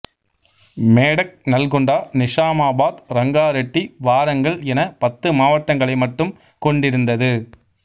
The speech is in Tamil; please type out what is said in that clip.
மேடக் நல்கொண்டா நிசாமாபாத் ரங்காரெட்டி வாரங்கல் என பத்து மாவட்டங்களை மட்டும் கொண்டிருந்தது